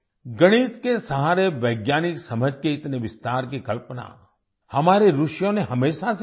गणित के सहारे वैज्ञानिक समझ के इतने विस्तार की कल्पना हमारे ऋषियों ने हमेशा से की है